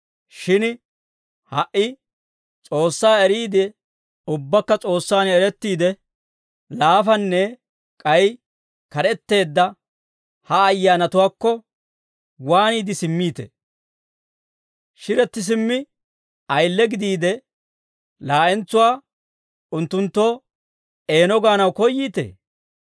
Shin ha"i S'oossaa eriide, ubbaakka S'oossaan erettiide, laafanne k'ay kad'etteedda ha ayyaanatuwaakko waaniide simmiitee? Shiretti simmi, ayile gidiide, laa'entsuwaa unttunttoo eeno gaanaw koyyiitee?